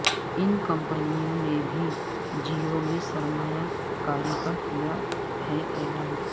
ان کمپنیوں نے بھی جیو میں سرمایہ کاری کا کیا ہے اعلان